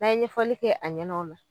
N' a ye ɲɛfɔli kɛ a ɲɛnɛ ola